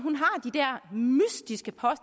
har